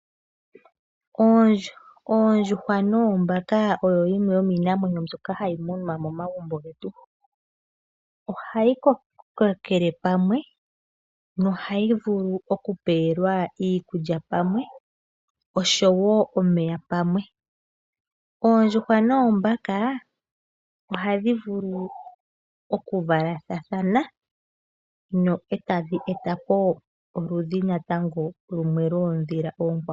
Oondjuhwa noombaka oyo yimwe yomiinamwenyo mbyoka hayi munwa momagumbo getu. Ohayi kokele pamwe nohayi vulu oku pewelwa iikulya pamwe oshowo omeya pamwe. Oondjuhwa noombaka ohadhi vulu oku valathathana no etadhi eta po oludhi natango lwoondhila oonkwawo.